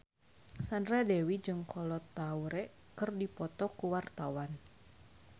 Sandra Dewi jeung Kolo Taure keur dipoto ku wartawan